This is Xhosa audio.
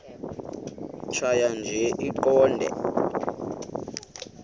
tjhaya nje iqondee